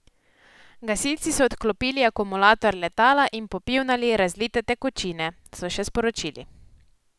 Gasilci so odklopili akumulator letala in popivnali razlite tekočine, so še sporočili.